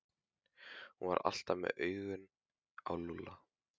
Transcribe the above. Hún var alltaf með augun á Lúlla.